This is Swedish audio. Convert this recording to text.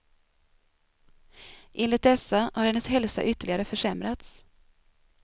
Enligt dessa har hennes hälsa ytterligare försämrats.